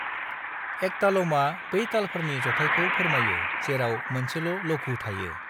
एकतालमआ बै तालफोरनि जथायखौ फोरमायो जेराव मोनसेल' लघु थायो।